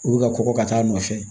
U bɛ ka kɔkɔ ka taa a nɔfɛ